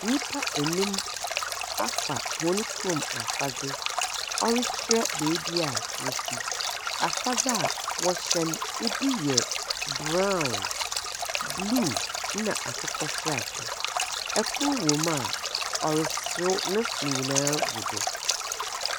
Nyimpa enum afa hɔn kurom afadze, ɔrekyerɛ beebi a wofi. Afadze wɔhyɛ no, bi yɛ brown, blue, na akokɔseradze. Kor wɔ mu a ɔreserew, ne se nyina gu do.